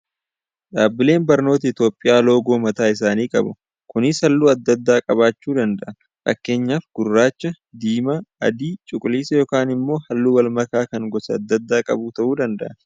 Dhaabbileen barnootaa Itiyoophiyaa loogoo mataa isaanii qabu. Kunis halluu adda addaa qabaachuu danda'a. Fakkeenyaaf gurraacha, diimaa, adii, cuquliisa yookaan immoo halluu wal makaa kan gosa adda addaa qabu ta'uu danda'a.